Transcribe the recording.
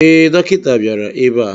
Ee, dọkịta bịara ebe a.